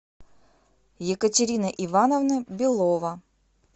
екатерина ивановна белова